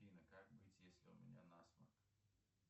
афина как быть если у меня насморк